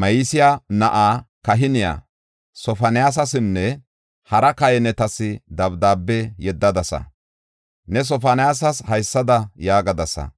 Ma7iseya na7aa kahiniya Sofoniyasasinne hara kahinetas dabdaabe yeddadasa.’ Ne Sofoniyasas haysada yaagadasa: